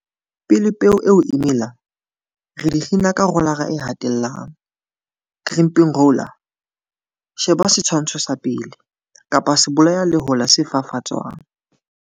Pele peo e mela, re di kgina ka rolara e hatellang, crimping roller, sheba setshwantsho sa 1, kapa sebolayalehola se fafatswang.